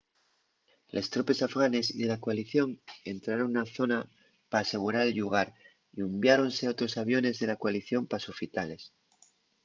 les tropes afganes y de la coalición entraron na zona p’asegurar el llugar y unviáronse otros aviones de la coalición pa sofitales